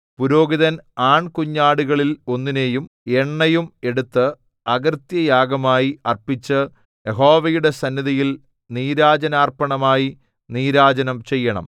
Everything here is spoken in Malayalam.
പുരോഹിതൻ ആൺകുഞ്ഞാടുകളിൽ ഒന്നിനെയും എണ്ണയും എടുത്ത് അകൃത്യയാഗമായി അർപ്പിച്ച് യഹോവയുടെ സന്നിധിയിൽ നീരാജനാർപ്പണമായി നീരാജനം ചെയ്യണം